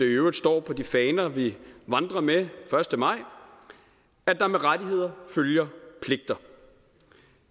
øvrigt står på de faner vi vandrer med første maj at der med rettigheder følger pligter